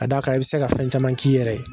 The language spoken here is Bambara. Ka d'a kan i bɛ se ka fɛn caman k'i yɛrɛ ye.